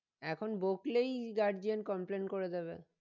এখন বকলেই guadian complain করে দেবে